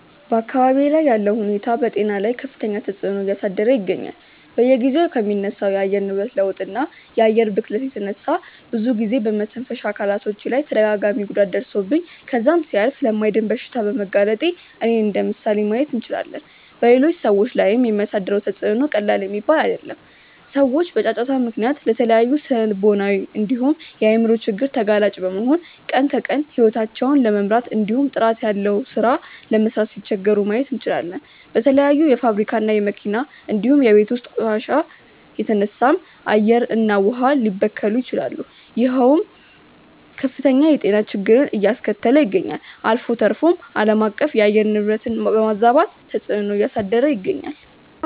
በአካባብዬ ላይ ያለው ሁኔታ በጤና ላይ ከፍተኛ ተፅዕኖ እያሳደረ ይገኛል። በየጊዜው ከሚነሳው የአየር ንብረት ለውጥ እና የአየር ብክለት የተነሳ ብዙ ጊዜ በመተንፈሻ አካሎቼ ላይ ተደጋጋሚ ጉዳት ደርሶብኝ ከዛም ሲያልፍ ለማይድን በሽታ በመጋለጤ እኔን እንደምሳሌ ማየት እንችላለን። በሌሎች ሰዎች ላይም የሚያሳድረው ተፅዕኖ ቀላል የሚባል አይደለም። ሰዎች በጫጫታ ምክንያት ለተለያዩ ስነልቦናዊ እንዲሁም የአይምሮ ችግር ተጋላጭ በመሆን ቀን ከቀን ሂወታቸውን ለመምራት እንዲሁም ጥራት ያለው ሥራ ለመስራት ሲቸገሩ ማየት እንችላለን። በተለያዩ የፋብሪካ እና የመኪና እንዲሁም የቤት ውስጥ ቆሻሻ የተነሳም አየር እና ውሃ ሊበከሉ ይችላሉ ይሄውም ከፍተኛ የጤና ችግርን አያስከተለ ይገኛል። አልፎ ተርፎም አለማቀፍ የአየር ንብረትን በማዛባት ተፅዕኖ እያሳደረ ይገኛል።